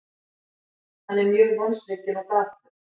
Hann er mjög vonsvikinn og dapur.